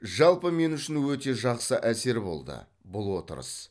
жалпы мен үшін өте жақсы әсер болды бұл отырыс